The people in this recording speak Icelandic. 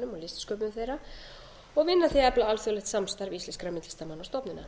listsköpun þeirra og vinna að því að efla alþjóðlegt samstarf íslenskra myndlistarmanna og stofnana